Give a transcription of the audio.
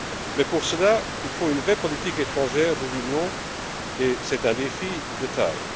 Mais, pour cela, il faut une vraie politique étrangère de l'Union et c'est un défi de taille.